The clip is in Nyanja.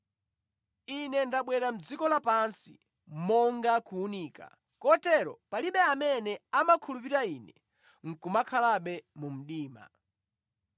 Ine ndabwera mʼdziko lapansi monga kuwunika, kotero palibe amene amakhulupirira Ine nʼkumakhalabe mu mdima.